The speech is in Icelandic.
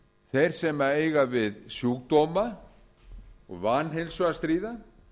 þeir sem eiga við sjúkdóma og vanheilsu og stríða